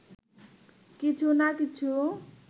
কিছু না কিছু